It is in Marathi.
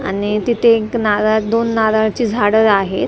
आणि तिथे एक नारळा दोन नारळाची झाडं आहेत त्याच्या बाजू--